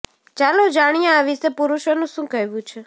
ચાલો જાણીએ આ વિષે પુરુષોનું શું કહેવું છે